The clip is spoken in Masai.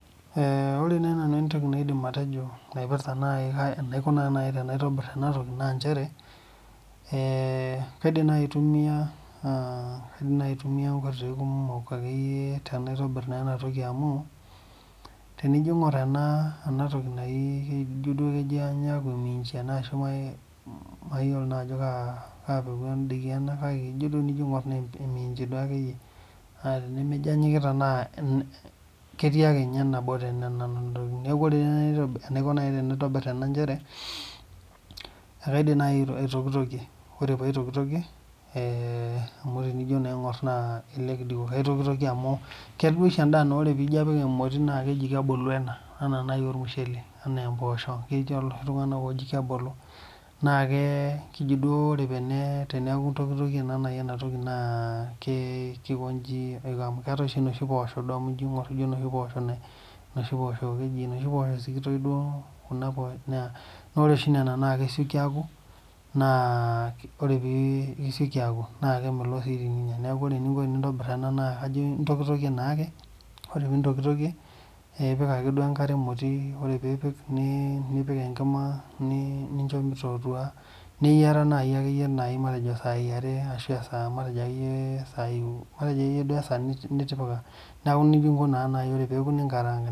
Ee ore nai nanu entoki naidim atejo naipirta nai enaiko naa nai enaitobir ena toki naa inchere, ee kaidim nai aitumia aa kaidim nai aitumia inkoitoi kumok akeyie tenaitobir naa ena toki amu tenijo iing'or ena ena toki nai kijo duo kenyaaku minchi ashu nai mai maiyiolo naa ajo kaa kaa peku endaa duo ena kake enijo duo iing'or naa eminchi duo akeyie, naa tenimijo enyikita naa en ketii ake nye nabo te nena ntokitin. Neeku ore nai tenaitobi enaiko tenaitobir ena nchere naa kaidim nai aitokitokie, ore paitokitokie ee amu ijo nai tenaing'or naa elelek duo aitokitokie amu keetai duo oshi endaa naa ore piijo aapik emoti naake eji kebulu ena, ena naaji ormushele enaa empoosho keetai iloshi tung'anak ooji kebulu. Naake keji duo ore tene teneeku itokitokie naa nai ena toki naa kee kikonchi aiko amu keetai oshi inoshi poosho duo amu ijo iing'or inoshi poosho nai inoshi poosho keji inoshi poosho sikitoi duo inoshi poosho naa ore oshi nena naa kesioki aaku naa ore pii isioki aaku naake emelok sii teninya. Neeku ore eninko enintobir ena naa kajo intokitokie naa ake , ore piintokitokie ee ipik akeduo enkare emoti, ore piipik nii nipik enkima nii nincho mitotua neyiara nai akeyie matejo isaai are ashu esaa matejo akeyie isai u matejo akeyie esaa ni nitipika neeku nija inko naa ore peeku ninkarang'.